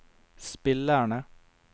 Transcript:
spillerne